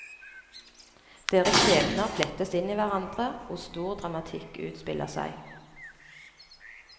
Deres skjebner flettes inn i hverandre og stor dramatikk utspiller seg.